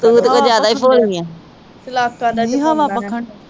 ਤੂੰ ਤੇ ਕੁਝ ਜਿਆਦਾ ਈ ਭੋਲੀ ਆ